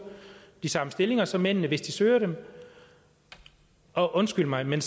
de samme stillinger som mændene hvis de søger dem og undskyld mig men